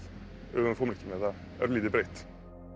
öfugum formerkjum eða örlítið breytt